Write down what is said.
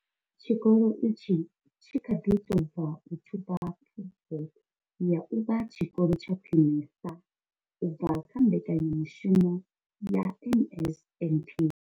Tshikolo itshi tshi kha ḓi tou bva u thuba Pfufho ya u vha tshikolo tsha khwinesa u bva kha mbekanyamushumo ya NSNP.